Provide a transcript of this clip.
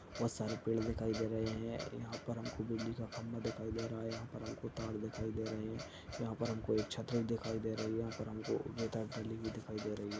बोहोत सारे पेड़ दिखाई दे रहे हैं। यहाँ पर हमको बिजली का खम्बा दिखाई दे रहा है यहाँ पर हमको तार दिखाई दे रहे हैं यहाँ पर हमको एक छतरी दिखाई दे रही है | यहाँ पर हमको गली दिखाई दे रही है।